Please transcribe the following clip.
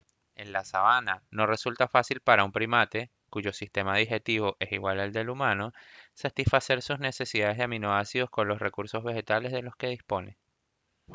en la sabana no resulta fácil para un primate cuyo sistema digestivo es igual al humano satisfacer sus necesidades de aminoácidos con los recursos vegetales de los que dispone